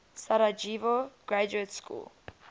sarajevo graduate school